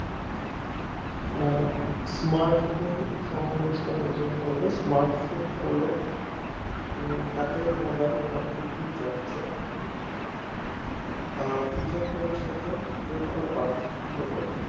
Smartphone সম্মন্ধে করবো Smartphone হলো হাতের Mobile computing যন্ত্র Feature phone এর সাথে মূলত পার্থক্যই হলো